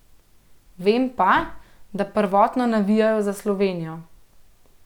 Vem pa, da prvotno navijajo za Slovenijo.